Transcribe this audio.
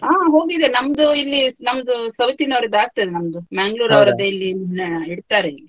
ಹ ಹೋಗಿದೆ, ನಮ್ದು ಇಲ್ಲಿ ನಮ್ದು south ನವರದ್ದು ಆಗ್ತದೆ ನಮ್ದು Manglore ಇಲ್ಲಿ ಆ ಇಡ್ತಾರೆ ಇಲ್ಲಿ.